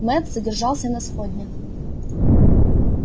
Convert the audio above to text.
мэтт задержался на сходнях